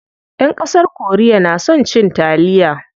Ƴan ƙasar korea na son cin taliya.